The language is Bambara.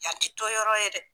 Yan tɛ toyɔrɔ ye dɛ.